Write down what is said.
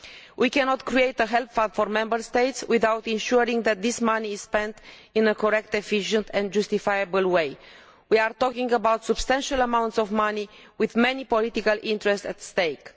We cannot create a help fund for Member States without ensuring that this money is spent in a correct, efficient and justifiable way. We are talking about substantial amounts of money with many political interests at stake.